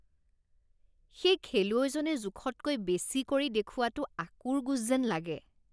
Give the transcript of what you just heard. সেই খেলুৱৈজনে জোখতকৈ বেছি কৰি দেখুওৱাটো আঁকোৰগোঁজ যেন লাগে